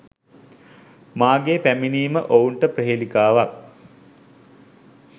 මාගේ පැමිණීම ඔවුන්ට ප්‍රහේලිකාවක්